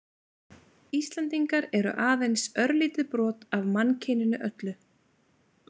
Íslendingar eru aðeins örlítið brot af mannkyninu öllu.